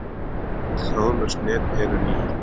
Öll þráðlaus net eru ný.